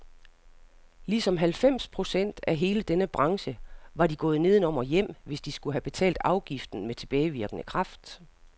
Ligesom halvfems procent af hele denne branche var de gået nedenom og hjem, hvis de skulle have betalt afgiften med tilbagevirkende kraft.